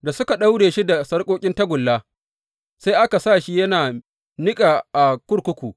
Da suka daure shi da sarƙoƙin tagulla, sai aka sa shi yana niƙa a kurkuku.